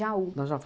Nós já